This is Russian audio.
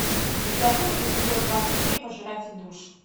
у тебя будет эпизод двадцать три пожиратель душ